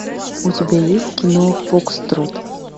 у тебя есть кино фокстрот